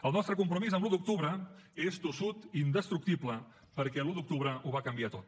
el nostre compromís amb l’un d’octubre és tossut i indestructible perquè l’un d’octubre ho va canviar tot